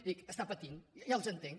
i dic està patint ja els entenc